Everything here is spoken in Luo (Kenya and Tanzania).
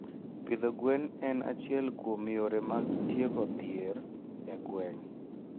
Pidho gwen en achiel kuom yore mag tieko dhier e gwenge.